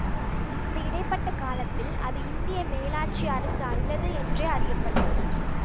இந்த இடை பட்ட காலத்தில் அது இந்திய மேலாட்சி அரசு அல்லது என்றே அறிய பட்டது